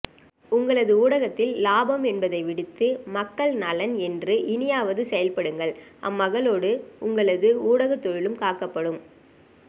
உங்களது ஊடகத்தில் இலாபம் என்பதை விடுத்து மக்கள் நலன் என்று இனியாவது செயல்படுங்கள் அம்மகளோடு உங்களது ஊடக தொழிலும் காக்கப்படும்